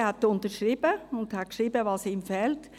Er hat unterschrieben und dargestellt, was ihm fehlt.